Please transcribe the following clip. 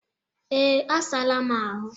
Ee, asaala m ahụ